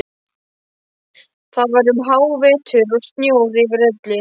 Það var um hávetur og snjór yfir öllu.